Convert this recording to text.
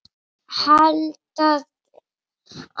Þessa heims eða að handan.